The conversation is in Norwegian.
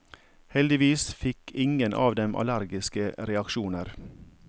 Heldigvis fikk ingen av dem allergiske reaksjoner.